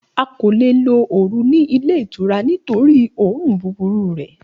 A ko le lo oru ni ile itura nitori õrùn buburu rẹ